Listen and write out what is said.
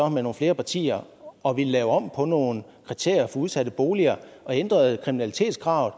med nogle flere partier og vil lave om på nogle kriterier for udsatte boliger og ændrer kriminalitetskravet